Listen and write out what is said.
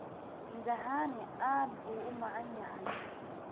Midhahani aad buu u macaan yahay.